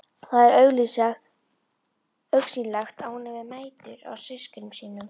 Það er augsýnilegt að hún hefur mætur á systkinum sínum.